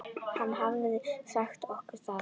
Hann hafði sagt okkur það.